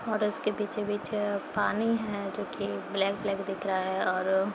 और उसके पीछे पीछे पानी है जो कि ब्लैक ब्लैक दिख रहा है और --